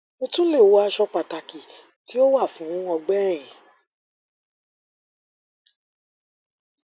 o tun le wọ aṣọ pataki ti o wa fun ọgbẹ ẹhin